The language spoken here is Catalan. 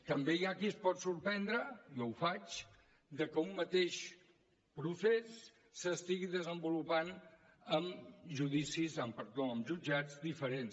també hi ha qui es pot sorprendre jo ho faig que un mateix procés s’estigui desenvolupant en jutjats diferents